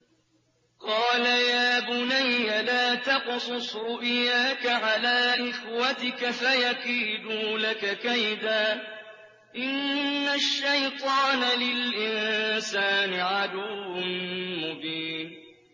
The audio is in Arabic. قَالَ يَا بُنَيَّ لَا تَقْصُصْ رُؤْيَاكَ عَلَىٰ إِخْوَتِكَ فَيَكِيدُوا لَكَ كَيْدًا ۖ إِنَّ الشَّيْطَانَ لِلْإِنسَانِ عَدُوٌّ مُّبِينٌ